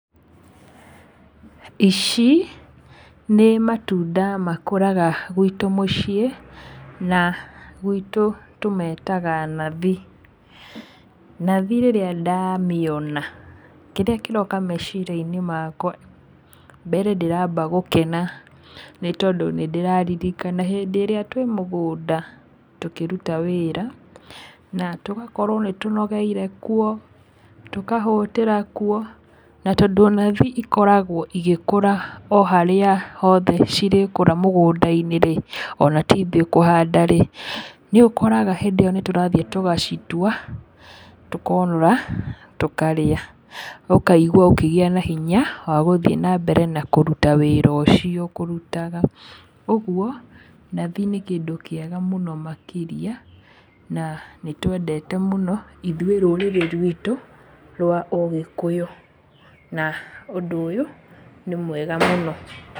Ici, nĩ matunda makũraga gwitũ mũciĩ, na gwitũ tũmetaga nathi, nathi rĩrĩa ndamĩona, kĩrĩa kĩroka mecira-inĩ makwa, mbere ndĩramba gũkena nĩ tondũ nĩndĩraririkana hĩndĩ ĩrĩa twĩ mũgũnda tũkĩruta wĩra, na tũgakorwo nĩtũnogeire kuo, tũkahũtĩra kuo, na tondũ nathi ikoragwo igĩkoũra o harĩa hothe cirĩkũra mũgũnda-inĩ rĩ, ona ti ithũĩ kũhanda rĩ, nĩũkoraga hĩndĩ ĩyo nĩtũrathi tũgacitua, tũkonũra, tũkarĩa, ũkaigua ũkĩgĩa na hinya wa gũthiĩ nambere na kũruta wĩra ũcio ũkũrutaga, ũguo, nathi nĩ kĩndũ kĩega mũno makĩria, na nĩtwendete mũno, ithũĩ rúrĩrĩ rwitũ, rwa ũgĩkũyũ, na ũndũ ũyũ, nĩ mwega mũno.